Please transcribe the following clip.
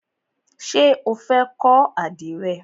Ṣé o fẹ́ kọ́ àdìrẹ?